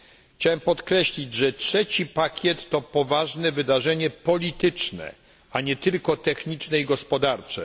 Chciałem podkreślić, że trzeci pakiet to poważne wydarzenie polityczne, a nie tylko techniczne i gospodarcze.